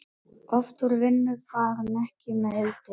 Oft úr vinnu far hann fékk með Hildi.